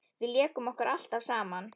Við lékum okkur alltaf saman.